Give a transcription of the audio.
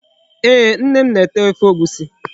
Ee, Nne m na-ete Ofe Egwusi